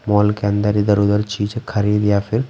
mall के अंदर इधर-उधर चीजें खरीद या फिर--